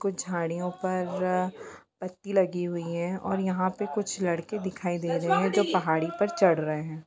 कुछ झाड़ियों पर पत्ती लगे हुए है यहां पर कुछ लड़के दिखाई दे रहे है जो पहाड़ी पर चढ़ रहे है।